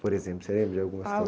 Por exemplo, você lembra de alguma